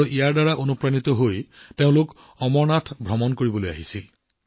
তাৰ পৰাই তেওঁ ইমানেই প্ৰেৰণা পাইছিল যে তেওঁ নিজেই অমৰনাথ যাত্ৰালৈ আহিছিল